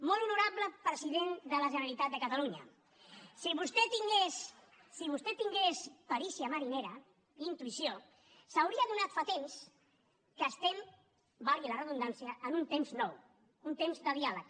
molt honorable president de la generalitat de catalunya si vostè tingués si vostè tingués perícia marinera intuïció s’hauria adonat fa temps que estem valgui la redundància en un temps nou un temps de diàleg